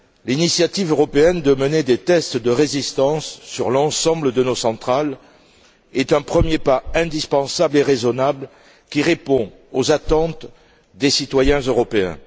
L'initiative européenne de mener des tests de résistance sur l'ensemble de nos centrales est un premier pas indispensable et raisonnable, qui répond aux attentes des citoyens européens.